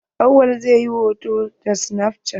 Awwal zai yi hoto da snaf cat.